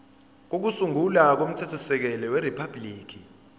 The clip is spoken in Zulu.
kokusungula komthethosisekelo weriphabhuliki